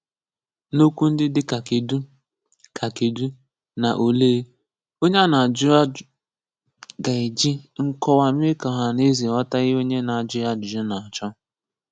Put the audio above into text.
N’okwu ndị dị ka “Kedụ” ka “Kedụ” na “Olee,” onye a na-ajụ ga-eji nkọwa mee ka ọhanaeze ghọta ihe onye na-ajụ ya ajụjụ na-achọ.